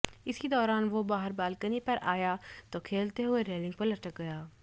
इसी दौरान वो बाहर बालकनी पर आया तो खेलते हुए रेलिंग पर लटक गया